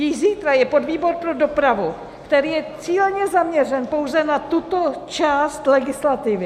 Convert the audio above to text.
Již zítra je podvýbor pro dopravu, který je cíleně zaměřen pouze na tuto část legislativy.